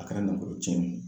A kɛra nafolo tiɲɛ ye